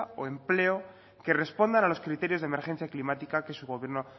o empleo que respondan a los criterios de emergencia climática que su gobierno